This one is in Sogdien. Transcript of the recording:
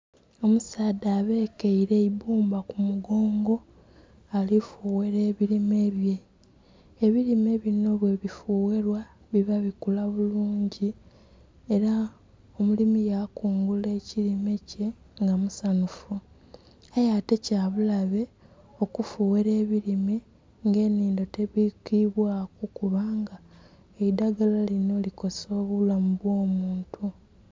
Omusadha abekeire eibbumba ku mugongo ari kufughera ebilime bye ebilime bino ghebifugherwa biba bikula bulungi era omulimi yakungula ekilime kye nga musanhufu aye ate kyabulabe kufughera ebilime nga enhindo tebwikibwaku kubanga eidhagala lino likosa obulamu bw' omuntu